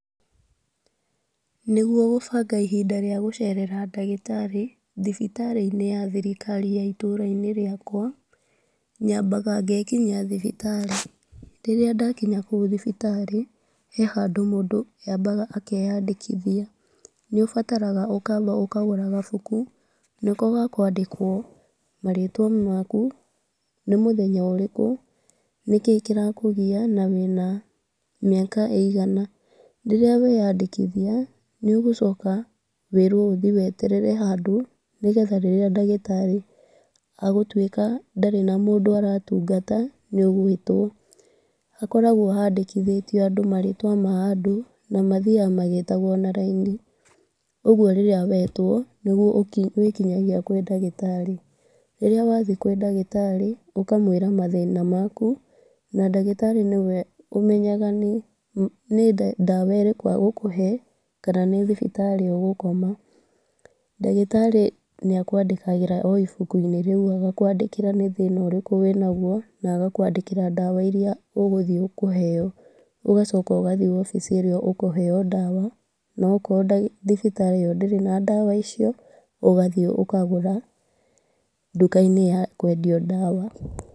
Nĩgwo kũbanga ihinda rĩa gũcerera ndagĩtarĩ , thibitarĩ-inĩ ya thirikari ya itũũra-inĩ rĩakwa, nyabaga gekinyia thibitari. Rĩrĩa ndakinya kũu thibitari, he handũ mũndũ abaga akeyandĩkithia. Nĩũbataraga ũkaba ũkagũra kabuku, nĩko gakũandĩkwo marĩtwa maku, nĩ mũthenya ũrĩkũ, nĩkĩĩ kĩrakũgia na wĩna mĩaka ĩgana. Rĩrĩa weyandĩkithia, nĩ ũgũcoka wĩrũo uthĩĩ weterere handũ nĩgetha rĩrĩa ndagĩtarĩ agũtuĩka ndarĩ na mũndũ aratungata nĩũgũĩtwo. Hakoragwo handĩkithĩtio marĩtwa ma andũ na mathiaga magĩtagwo na raini. Ũgwo rĩrĩa wetwo, nĩgwo ũkinyaga kũrĩ ndagĩtarĩ. Rĩrĩa wathĩĩ kũrĩ ndagĩtarĩ, ũkamwĩra mathĩna maku na ndagĩtarĩ nĩwe umenyaga nĩ ndawa ĩrĩkũ agũkũhe kana nĩ thibitari ũgũkoma. Ndagĩtarĩ nĩakũandĩkagĩra o ibuku- inĩ rĩu nĩ thĩna urĩkũ wĩnagwo na agakwandĩkĩra nĩ thĩna ũrĩkũ wĩnagwo. Na agakwandĩkĩra nĩ ndawa ĩrĩkũ ũkũheo. Ũgacoka ũgathĩĩ wobici ĩrĩa ũkũheo dawa na okorũo thibitari ĩyo ndĩrĩ na ndawa icio ũgathĩĩ ũkagũra nduka-inĩ ya kwendia ndawa.